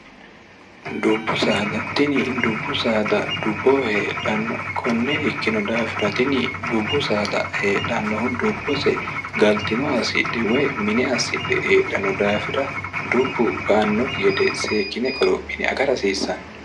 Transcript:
dubbu saad tini dubbu saada dubboo heedhanno konne ikkino daafira tini dubbu saada heedhannohu dubbose galtino assidhe woy mine assidhe heedhanno daafira dubbu ba annokki gede seekkine qoro phine agarhasiissanno